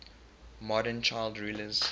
modern child rulers